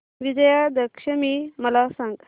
विजयादशमी मला सांग